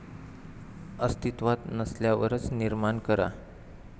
अस्तित्वात नसल्यावरच निर्माण करा